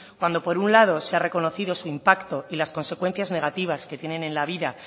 cuando por un lado se ha reconocido su impacto y las consecuencias negativas que tienen en la vida